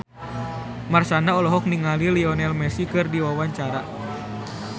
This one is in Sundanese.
Marshanda olohok ningali Lionel Messi keur diwawancara